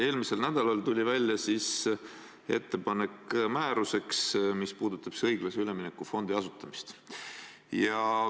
Eelmisel nädalal tuli välja ettepanek määruse kohta, mis puudutab õiglase ülemineku fondi asutamist.